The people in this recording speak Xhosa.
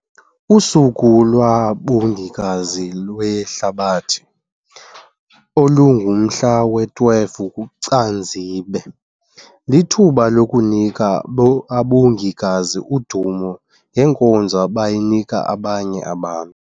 USuku lwaBongikazi lweHlabathi, olungomhla we-12 kuCanzibe, lithuba lokunika abongikazi udumo ngenkonzo abayinika abanye abantu.